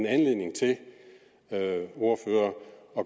anledning til at